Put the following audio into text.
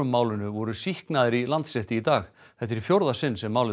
málinu voru sýknaðir í Landsrétti í dag þetta er í fjórða sinn sem málið